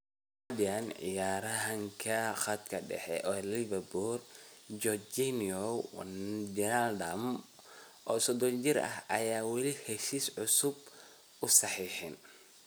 (Guardian) Ciyaaryahanka khadka dhexe ee Liverpool Georginio Wijnaldum, oo 30 jir ah, ayaan weli heshiis cusub u saxiixin.